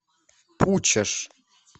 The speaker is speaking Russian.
пучеж